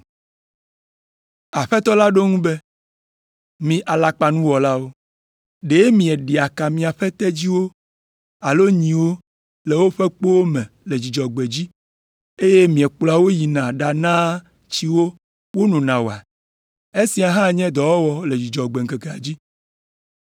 Aƒetɔ la ɖo eŋu be, “Mi alakpanuwɔlawo! Ɖe mieɖea ka miaƒe tedziwo alo nyiwo le woƒe kpowo me le Dzudzɔgbe dzi, eye miekplɔa wo yina ɖanaa tsi wo wonona oa? Esia hã nye dɔwɔwɔ le Dzudzɔgbe ŋkekea dzi.